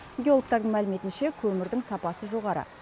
геологтардың мәліметінше көмірдің сапасы жоғары